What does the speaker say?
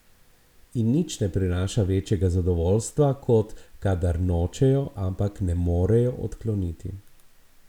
In nič ne prinaša večjega zadovoljstva, kot kadar nočejo, ampak ne morejo odkloniti.